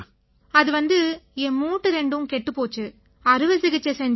அது வந்து என் மூட்டு ரெண்டும் கெட்டுப் போச்சு அறுவை சிகிச்சை செஞ்சாங்க